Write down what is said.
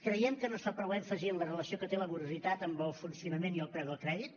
creiem que no es fa prou èmfasi en la relació que té la morositat amb el funcionament i el preu del crèdit